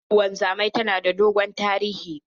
Harkan wanzamai tana da dogon tarihi.